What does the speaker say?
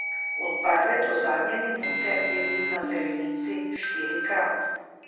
Od prve do zadnje minute je bil na zelenici štirikrat.